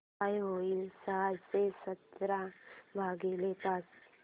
काय होईल सहाशे सतरा भागीले पाच